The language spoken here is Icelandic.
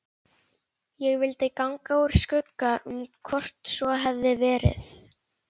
Ég vildi ganga úr skugga um hvort svo hefði verið.